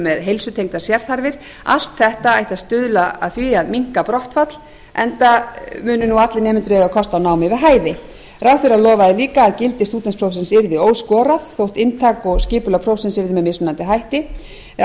með heilsutengdar sérþarfir allt þetta ætti að stuðla að því að minnka brottfall enda munu allir nemendur eiga kost á námi við hæfi ráðherra lofaði líka að gildi stúdentsprófsins yrði óskorað þótt inntak og skipulag prósenta yrði með mismunandi hætti á